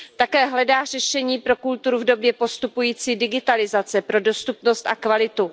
Také hledá řešení pro kulturu v době postupující digitalizace, pro dostupnost a kvalitu.